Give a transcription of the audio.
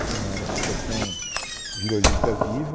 Então era a Associação Vila Olímpia Viva,